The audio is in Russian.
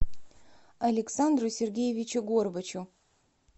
александру сергеевичу горбачу